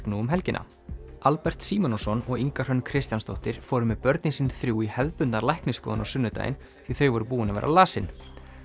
nú um helgina Albert Símonarson og Inga Hrönn Kristjánsdóttir fóru með börnin sín þrjú í hefðbundna læknisskoðun á sunnudaginn því þau voru búin að vera lasin